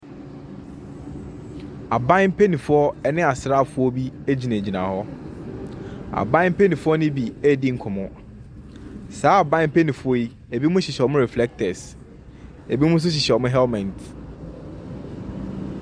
Aban mpaninfoɔ ne asraafoɔ bi gyinagyina hɔ. Aban mpanimfoɔ noo bi redi nkɔmmɔ. Saa aban mpanimfoɔ yi, binom hyehyɛ wɔn refrectors, bi nom nso hyehɛ wɔn helmet.